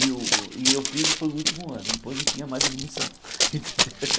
E eu e eu fiz e foi o último ano, depois não tinha mais admissão.